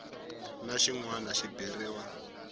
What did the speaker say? na xin wana xi beriwa